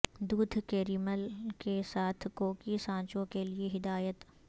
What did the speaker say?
دودھ کیریمل کے ساتھ کوکی سانچوں کے لئے ہدایت